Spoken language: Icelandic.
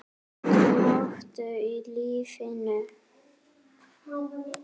Áttu mottó í lífinu?